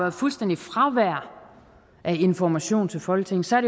et fuldstændigt fravær af information til folketinget så er